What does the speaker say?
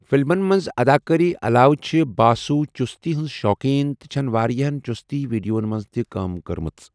فلمَن منٛز اداکٲری علاوٕ چھِ باسو چُستی ہنٛز شوقیٖن تہٕ چھٮ۪ن واریاہَن چُستی ویڈیوَن منٛز تہِ کٲم کٔرمٕژ۔